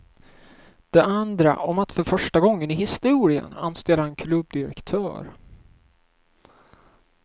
Det andra om att för första gången i historien anställa en klubbdirektör.